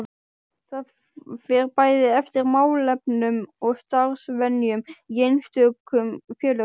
Það fer bæði eftir málefnum og starfsvenjum í einstökum félögum.